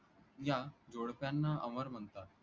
या जोडप्यांना अमर म्हणतात.